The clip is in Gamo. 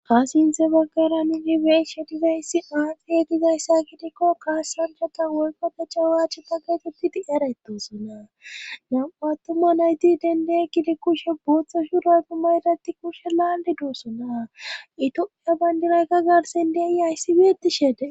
Ha sintha baggara ninibeeshe digayssi aaxiye dizayssa kidikko kaasrangata wolkode chawaache paggetepiti eretusona nam7attuman hayti dende kidi kushe booththo shura gu mayratti kushe laali dussona itohhiya bayndinayka garsen dei aysiweeti shede